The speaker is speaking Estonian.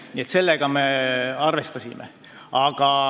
Nii et sellega me arvestasime.